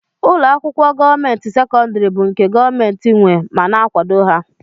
Ụlọakwụkwọ gọọmenti sekondari bụ nke gọọmenti nwé ma na akwado ha.